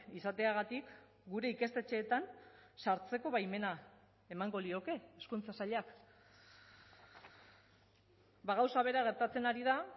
izateagatik gure ikastetxeetan sartzeko baimena emango lioke hezkuntza sailak gauza bera gertatzen ari da